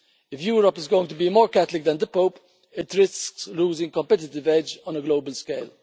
If Europe is going to be more Catholic than the Pope it risks losing competitive edge on a global scale.